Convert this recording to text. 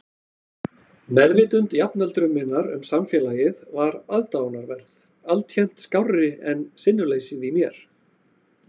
Meðvitund jafnöldru minnar um samfélagið var aðdáunarverð, alltént skárri en sinnuleysið í mér.